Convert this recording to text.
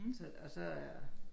Så og så er